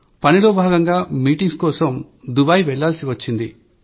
పనిలో భాగంగా మీటింగ్స్ కోసం దూబాయ్ వెళ్లాల్సి వచ్చింది